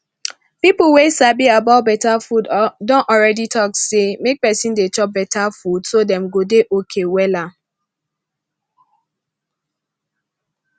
people wey sabi about better food don already talk say make person dey chop better food so dem go dey okay wella